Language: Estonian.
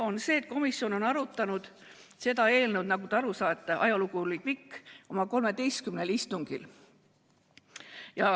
On see, et komisjon on arutanud seda eelnõu – nagu te aru saate, ajalugu on pikk – tervelt 13 istungil.